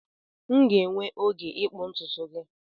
M ga-enwe oge ịkpụ ntutu gị